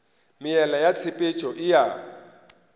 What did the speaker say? meela ya tshepetšo e a